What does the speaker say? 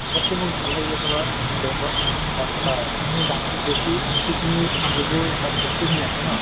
চবতকে মোৰ ভাল লাগিলে তোমাৰ trend ত তাত মানে কাপোৰখিনিৰ দামতো বেছি কিন্তু তুমি যিবোৰ তাত বস্তুখিনি আছে ন